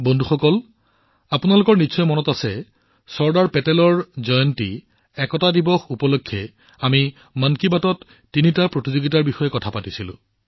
বন্ধুসকল আপোনালোকৰ মনত থাকিব পাৰে যে চৰ্দাৰ পেটেলৰ জন্ম জয়ন্তী অৰ্থাৎ একতা দিৱসত আমি মন কী বাতত তিনিটা প্ৰতিযোগিতাৰ কথা কৈছিলো